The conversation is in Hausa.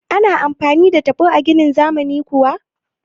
Ana amfani da taɓo a ginin zamani kuwa?